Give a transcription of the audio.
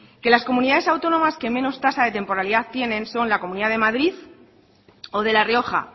que las comunidades autónomas que menos tasa de temporalidad tienen son la comunidad de madrid o de la rioja